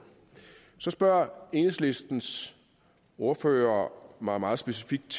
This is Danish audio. så spørger enhedslistens ordfører mig meget specifikt